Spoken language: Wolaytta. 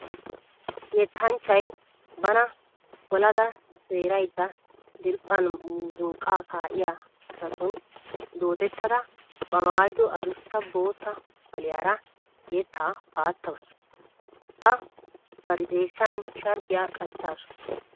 Yettanchchiya bana olada seeraydda diriiphphan muzunqqaa kaa'iya asatun doodettada ba maayido adussa bootta qoliyara yettaa paattawusu. A bari xeessan sharbbiya qachchaasu.